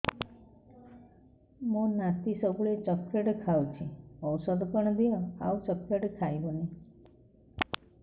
ମୋ ନାତି ସବୁବେଳେ ଚକଲେଟ ଖାଉଛି ଔଷଧ କଣ ଦିଅ ଆଉ ଚକଲେଟ ଖାଇବନି